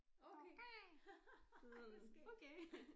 Okay ej hvor skægt